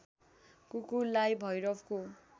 कुकुरलाई भैरवको